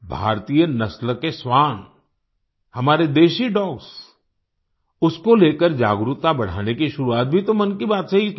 भारतीय नस्ल के श्वान हमारे देशी डॉग्स उसको लेकर जागरूकता बढ़ाने की शुरुआत भी तो मन की बात से ही की थी